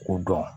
K'u dɔn